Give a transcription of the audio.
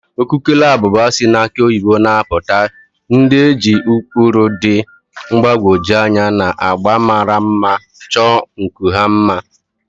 Ukukele abụba si na akị oyibo na-apụta, ndị e ji ụkpụrụ dị mgbagwoju anya na agba mara mma chọọ nku ha mma.